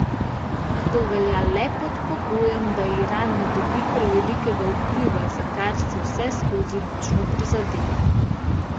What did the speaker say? A to velja le pod pogojem, da Iran ne dobi prevelikega vpliva, za kar si vseskozi močno prizadeva.